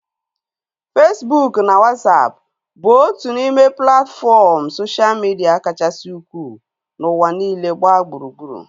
Fesbụụk na Wasapụ bụ otu n'ime platfọm soshal midia kachasị ukwuu n'ụwa niile gbaa gburugburu